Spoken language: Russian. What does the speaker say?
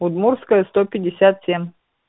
удмуртская сто пятьдесят семь